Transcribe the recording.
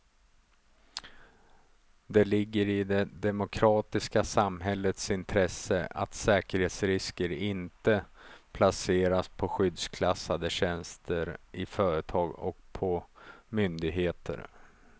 Det ligger i det demokratiska samhällets intresse att säkerhetsrisker inte placeras på skyddsklassade tjänster i företag och på myndigheter.